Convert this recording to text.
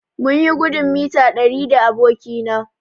Mun yi gudun mita ɗari da aboki na